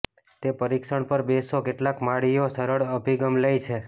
તે પરીક્ષણ પર બેસો કેટલાક માળીઓ સરળ અભિગમ લે છે